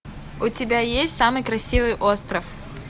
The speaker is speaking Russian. у тебя есть самый красивый остров